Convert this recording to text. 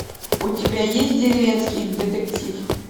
у тебя есть деревенский детектив